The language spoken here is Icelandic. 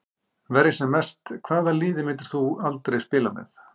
Verja sem mest Hvaða liði myndir þú aldrei spila með?